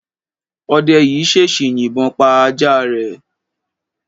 Ọdẹ yìí ṣèṣì yìbọn pa ajá rẹ̀.